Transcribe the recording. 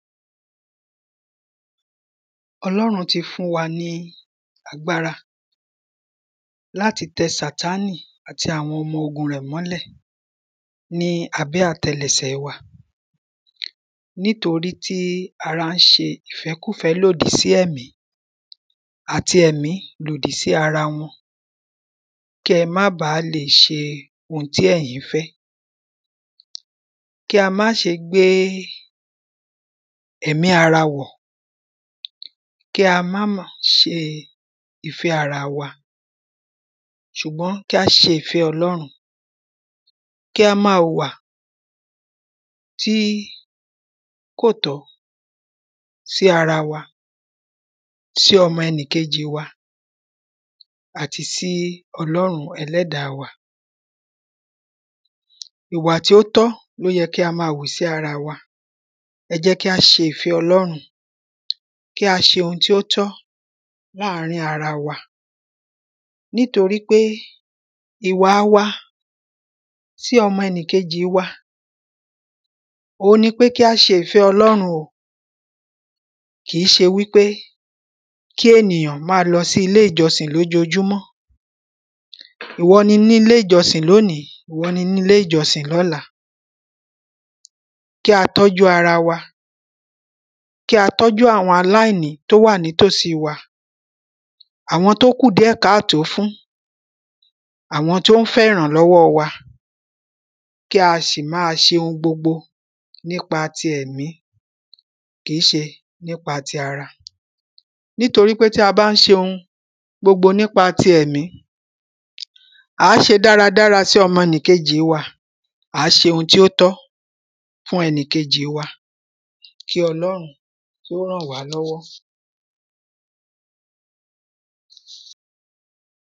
Ọlórun ti fún wa ní agbára láti tẹ sàtánì àti àwọn ọmọ ogun rẹ̀ mọ́lẹ̀ ní abẹ́ àtẹlẹsẹ̀ wa nítorítí ara ń ṣe ìfẹ́kùfẹ́ lòdì sí ẹ̀mí àti ẹ̀mí lòdì sí ara wọn kẹ́ má ba lè ṣe ohun tí ẹ̀yin ń fẹ́. Kí a má ṣe gbé ẹ̀mí ara wọ̀ kí a má mọ ṣe ìfẹ́ ara wa ṣùgbọ́n kí á ṣe ìfẹ́ ọlọ́run. kí á má wùwà tí kò tọ́ sí ara wa sí ọmọ ẹnìkejì wa àti sí ọlọ́run ẹlẹ́ẹ̀dá wa. Ìwà tí ó tó ni ó yẹ kí a má wù sí ara wa ẹ jẹ́ kí á ṣe ìfẹ́ ọlọ́run kí a ṣe ohun tí ó tọ́ láàrín ara wa nítorípé ìwà wa sí ọmọ ẹnìkẹjì wa òhun ni pé kí á ṣe ìfẹ́ ọlọ́run o kìí ṣe wípé Kí ènìyàn má lọ sí ilé ìjọsìn lójojúmọ́ ìwọ ni nílé ìjọsìn lénìí ìwọ ni nílé ìjọsìn lọ́la. Kí a tọ́jú ara wa kí a tọ́jú àwọn aláìní tó wà ní tòsí wa àwọn tó kù díẹ̀ káàtó fún àwọn tó ń fẹ́ ìrànlọ́wọ́ wa kí a sì má ṣe ohun gbogbo nípa ti ẹ̀mí kìí se nípa ti ara. Nítorípé tí a bá ń ṣe ohun gbogbo nípa ti ẹ̀mí à á ṣe dára dára sí ọmọnìkejì wa à á ṣe ohun tí ó tọ́ fún ẹnì kejì wa kí ọlọ́run kí ó ràn wá lọ́wọ́.